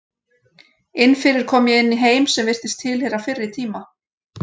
Inni fyrir kom ég inn í heim sem virtist tilheyra fyrri tíma.